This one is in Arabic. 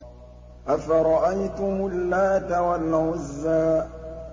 أَفَرَأَيْتُمُ اللَّاتَ وَالْعُزَّىٰ